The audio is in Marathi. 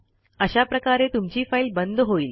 अशा प्रकारे तुमची फाईल बंद होईल